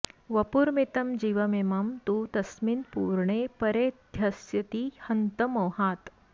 वपुर्मितं जीवमिमं तु तस्मिन् पूर्णे परेऽध्यस्यति हन्त मोहात्